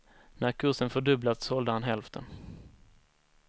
När kursen fördubblats sålde han hälften.